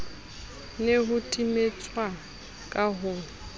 ne ho timetswa ka ho